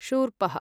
शूर्पः